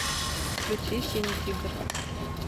включи синий тигр